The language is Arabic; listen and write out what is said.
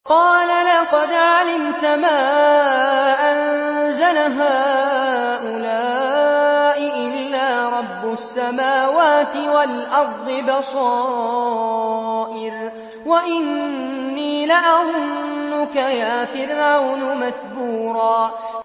قَالَ لَقَدْ عَلِمْتَ مَا أَنزَلَ هَٰؤُلَاءِ إِلَّا رَبُّ السَّمَاوَاتِ وَالْأَرْضِ بَصَائِرَ وَإِنِّي لَأَظُنُّكَ يَا فِرْعَوْنُ مَثْبُورًا